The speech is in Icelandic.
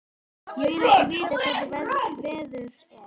Ég vil ekki vita hvernig veður er.